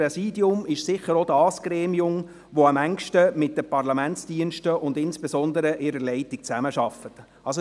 Das Präsidium ist sicher auch dasjenige Gremium, welches am engsten mit den Parlamentsdiensten und insbesondere mit deren Leitung, zusammenarbeitet.